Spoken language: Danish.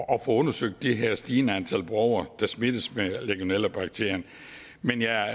at få undersøgt det her stigende antal borgere der smittes med legionellabakterien men jeg